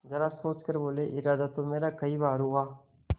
जरा सोच कर बोलेइरादा तो मेरा कई बार हुआ